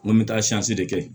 N ko n bɛ taa de kɛ